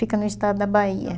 Fica no estado da Bahia.